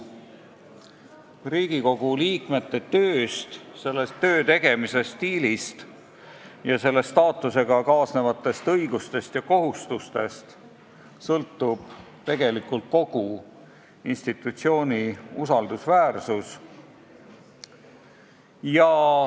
Riigikogu liikmete tööst, selle töö tegemise stiilist ja selle staatusega kaasnevatest õigustest ja kohustustest sõltub tegelikult kogu institutsiooni usaldusväärsus.